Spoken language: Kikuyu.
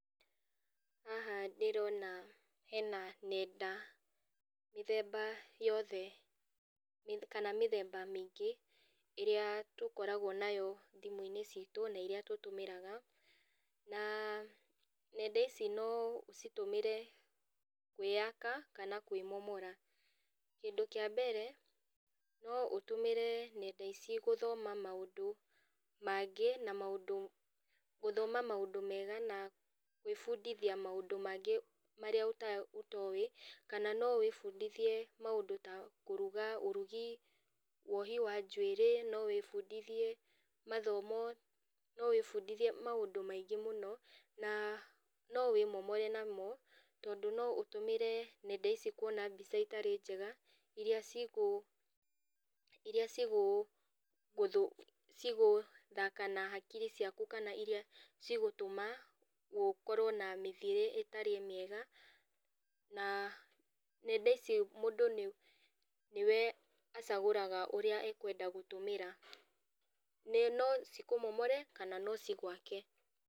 Haha ndĩrona hena nenda mĩthemba yothe kana mĩthemba mĩingĩ ĩrĩa tũkoragwo nayo thimũ-inĩ citũ na iria tũtũmĩraga na nenda ici no ũcitũmĩre kwĩyaka kana kwĩmomora. Kĩndũ kĩa mbere, no ũtũmĩre nenda ici gũthoma maũndũ mangĩ na maũndũ, gũthoma maũndũ mega na gwĩbundithia maũndũ mangĩ marĩa ũtoĩ kana no wĩbundithie maũndũ ta kũruga, ũrugi, wohi wa njuĩrĩ no wĩbundithie mathomo, no wĩbundithie maũndũ maingĩ mũno na no wĩmomore namo tondũ no ũtũmĩre nenda ici kuona mbica itarĩ njega iria cigũ, iria cigũ, cigũthaka na hakiri ciaku kana iria cigũtũma ũkorwo na mĩthĩire ĩtarĩ mĩega na nenda ici mũndũ nĩwe acagũraga ũrĩa ekwenda gũtũmĩra, na no cikũmomore kana no cigwake.